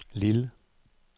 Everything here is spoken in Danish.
Lille